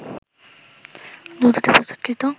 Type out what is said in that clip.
দুধ হতে প্রস্তুতকৃত